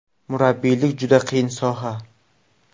Murabbiylik juda qiyin soha.